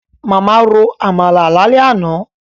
Màmá ro Àmàlà lálẹ́ àná